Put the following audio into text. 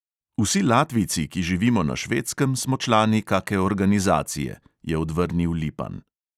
"Vsi latvijci, ki živimo na švedskem, smo člani kake organizacije," je odvrnil lipan.